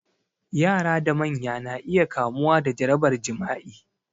Yara da manya na iya kamuwa da jarabar jima'i